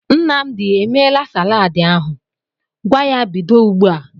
Nnamdi e meela salaadị ahụ? Gwa ya bido ugbu a!